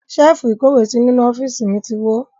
Ṣẹ́ẹ́fù ìkówèésí inú ọ́fíìsì mi ti wó.